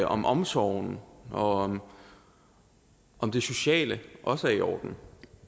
om omsorgen og om det sociale nu også er i orden